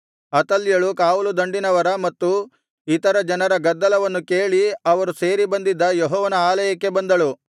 ಅತಲ್ಯಳು ಕಾವಲುದಂಡಿನವರ ಮತ್ತು ಇತರ ಜನರ ಗದ್ದಲವನ್ನು ಕೇಳಿ ಅವರು ಸೇರಿ ಬಂದಿದ್ದ ಯೆಹೋವನ ಆಲಯಕ್ಕೆ ಬಂದಳು